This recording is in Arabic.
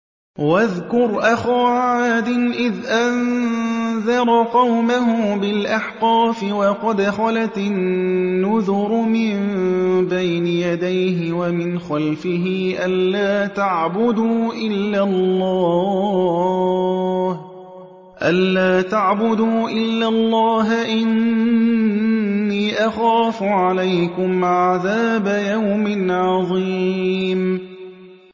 ۞ وَاذْكُرْ أَخَا عَادٍ إِذْ أَنذَرَ قَوْمَهُ بِالْأَحْقَافِ وَقَدْ خَلَتِ النُّذُرُ مِن بَيْنِ يَدَيْهِ وَمِنْ خَلْفِهِ أَلَّا تَعْبُدُوا إِلَّا اللَّهَ إِنِّي أَخَافُ عَلَيْكُمْ عَذَابَ يَوْمٍ عَظِيمٍ